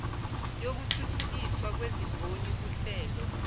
yokuthuthukiswa kwezimboni kuhlelo